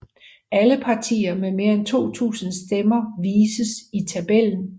Alle partier med mere end 2000 stemmer vises i tabellen